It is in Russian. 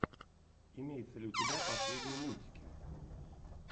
имеется ли у тебя последние мультики